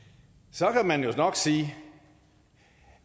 så kan man jo sige